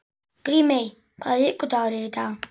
Grímey, hvaða vikudagur er í dag?